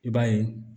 I b'a ye